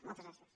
moltes gràcies